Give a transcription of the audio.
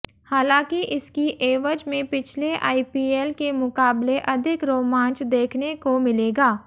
हालांकि इसकी एवज में पिछले आईपीएल के मुकाबले अधिक रोमांच देखने को मिलेगा